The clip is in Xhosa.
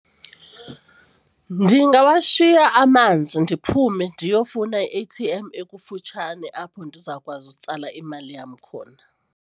Ndingawashiya amanzi ndiphume ndiyofuna i-A_T_M ekufutshane apho ndizawukwazi utsala imali yam khona.